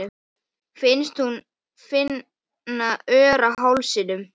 Finnst hún finna ör á hálsinum.